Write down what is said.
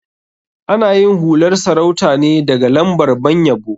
Ana yin hular sarauta ne daga lambar ban yabo.